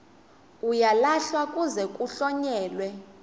uyalahlwa kuze kuhlonyelwe